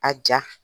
A ja